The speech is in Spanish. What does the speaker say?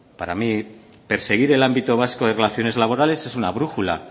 para mí perseguir el ámbito vasco de relaciones laborales es una brújula